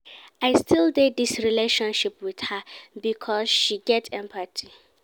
I still dey dis relationship wit her because she get empathy.